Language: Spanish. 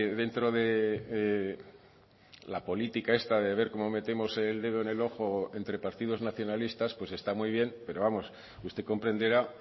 dentro la política esta de ver cómo metemos el dedo en el ojo entre partidos nacionalistas está muy bien pero vamos usted comprenderá